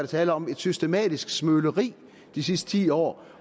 tale om et systematisk smøleri de sidste ti år